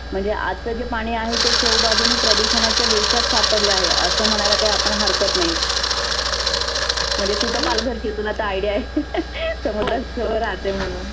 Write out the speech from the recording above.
म्हणजे आजचं जे पाणि आहे ते चहुबाजुने प्रदुषनाच्या विळख्यात सापडले आहे. आसं म्हणायला काही आपण हरकत नाही. म्हणजे तु तर पालघरची आहे तुला तर idea आहे. समुद्रा जवळ राहते म्हणून.